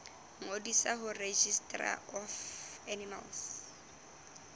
ngodisa ho registrar of animal